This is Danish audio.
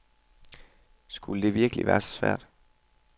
Skulle det virkelig være så svært.